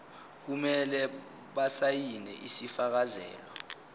kumele basayine isifakazelo